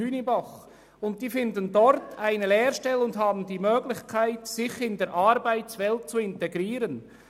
Sie finden dort eine Lehrstelle und haben die Möglichkeit, sich in die Arbeitswelt zu integrieren.